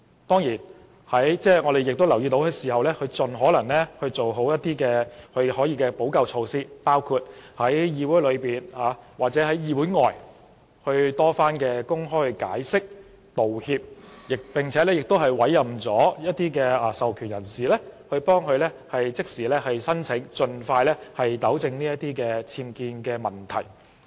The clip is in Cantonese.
當然，我們留意到，她已盡可能做好她可以補救的措施，包括在議會內外多番公開解釋、道歉，並且委任授權人士協助她即時申請，希望盡快糾正僭建問題。